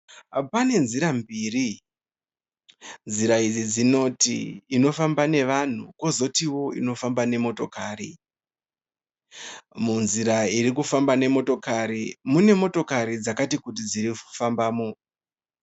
Pane nzira mbiri. Nzira idzi dzinoti inofamba nevanhu kozotiwo inofamba nemotokari. Munzira iri kufamba nemotokari mune motokari dzakati kuti dziri kufambamo.